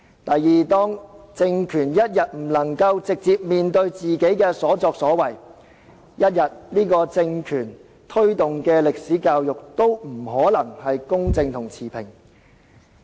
第二，當政權仍然不肯直接面對自己的所作所為，由這個政權推動的歷史教育不可能公正持平。